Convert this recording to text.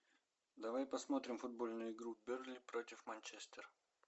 давай посмотрим футбольную игру бернли против манчестер